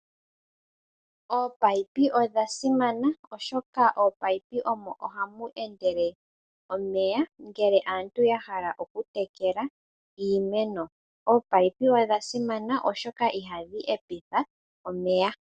Ominino odhasimana oshoka mominino omo hamu endele omeya uuna aantu yahala okutekela iimeno. Ominino odhasimana oshoka ihadhi hepeke omeya.